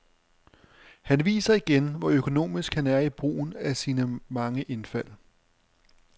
Han viser igen, hvor økonomisk han er i brugen af sine mange indfald.